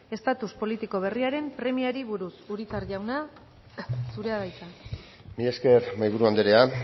estatus politiko berriaren premiari buruz urizar jauna zurea da hitza mila esker mahaiburu andrea